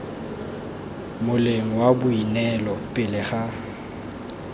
moleng wa boineelo pele ga